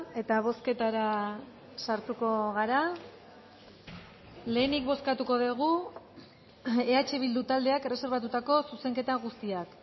eta bozketara sartuko gara lehenik bozkatuko dugu eh bildu taldeak erreserbatutako zuzenketa guztiak